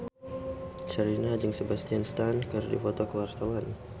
Sherina jeung Sebastian Stan keur dipoto ku wartawan